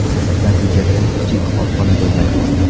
Natijada kichik korxona bo‘lmay qoldi.